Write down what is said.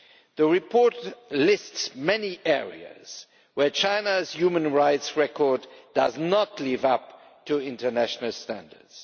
The report lists many areas where China's human rights record does not live up to international standards.